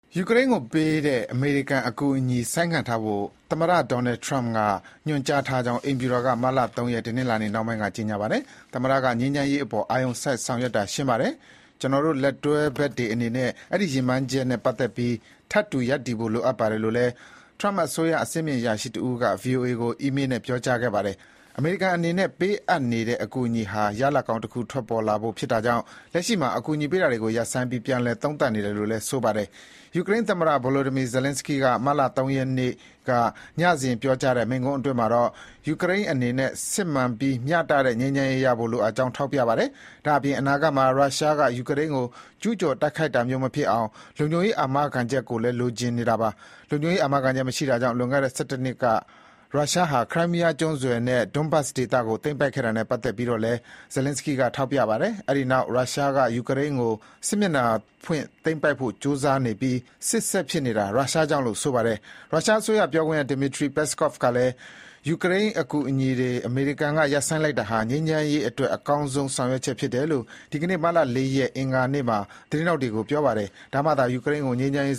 ယူကရိန်းကိုပေးတဲ့ အမေရိကန်အကူအညီဆိုင်းငံ့ထားဖို့ အမေရိကန်သမ္မတ Donald Trump က ညွှန်ကြားထားကြောင်း အိမ်ဖြူတော်က မတ်လ (၃) ရက် တနင်္လာနေ့နှောင်းပိုင်းက ကြေညာပါတယ်။ “သမ္မတက ငြိမ်းချမ်းရေးအပေါ် အာရုံစိုက်ဆောင်ရွက်တာ ရှင်းပါတယ်။ ကျနော်တို့ လက်တွဲဘက်တွေ အနေနဲ့ အဲဒီရည်မှန်းချက်နဲ့ပတ်သက်ပြီး ထပ်တူရပ်တည်ဖို့ လိုအပ်ပါတယ်။” လို့လည်း ထရမ့်အစိုးရ အဆင့်မြင့် အရာရှိတဦးက VOA ကို အီးမေးနဲ့ ပြောကြားခဲ့ပါတယ်။ အမေရိကန်အနေနဲ့ ပေးအပ်နေတဲ့ အကူအညီဟာ ရလဒ်ကောင်းတခု ထွက်ပေါ်လာဖို့ဖြစ်တာကြောင့် လက်ရှိမှာ အကူအညီပေးတာတွေ ရပ်ဆိုင်းပြီး ပြန်လည်သုံးသပ်နေတယ်လို့လည်း ဆိုပါတယ်။ ယူကရိန်းသမ္မတ Volodymyr Zelenskyy က မတ်လ (၃) ရက်နေ့ ညစဥ်ပြောကြားတဲ့ မိန့်ခွန်းအတွင်း မှာတော့ ယူကရိန်းအနေနဲ့ စစ်မှန်ပြီးမျှတတဲ့ငြိမ်းချမ်းရေးရဖို့လိုအပ်ကြောင်း ထောက်ပြပါတယ်။ ဒါ့အပြင် အနာဂတ်မှာ ရုရှားကယူကရိန်းကို ကျူးကျော်တိုက်ခိုက်တာမျိုးမဖြစ်အောင် လုံခြုံရေး အာမခံချက်လည်း လိုချင်နေတာပါ။ လုံခြုံရေးအာမခံချက် မရှိတာကြောင့် လွန်ခဲ့တဲ့ (၁၁) နှစ်က ရုရှားဟာ ခရိုင်းမီးယားကျွန်းဆွယ်နဲ့ ဒွန်းဘတ်စ်ဒေသကို သိမ်းပိုက်ခဲ့တာနဲ့ ပတ်သက်ပြီးတော့လည်း ဇယ်လင်းစကီးက ထောက်ပြပါတယ်။ အဲဒီနောက် ရုရှားကယူကရိန်းကို စစ်မျက်နှာဖွင့် သိမ်းပိုက်ဖို့ ကြိုးစားနေပြီး စစ် ဆက်ဖြစ်နေတာ ရုရှားကြောင့်လို့ ဆိုပါတယ်။ ရုရှား အစိုးရ ပြောခွင့်ရ Dmitry Peskov ကလည်း ‘ယူကရိန်းကိုပေးနေတဲ့အကူအညီတွေ အမေရိကန်က ရပ်ဆိုင်းလိုက်တာဟာ ငြိမ်းချမ်းရေးအတွက် အကောင်းဆုံး ဆောင်ရွက်ချက်’ ဖြစ်တယ်လို့ ဒီကနေ့ မတ်လ (၄) ရက် အင်္ဂါနေ့မှာ သတင်းထောက်တွေကို ပြောပါတယ်။ ဒါမှသာ ယူကရိန်းကို ငြိမ်းချမ်းရေး